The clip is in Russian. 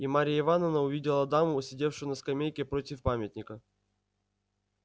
и марья ивановна увидела даму сидевшую на скамейке против памятника